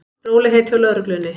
Rólegheit hjá lögreglunni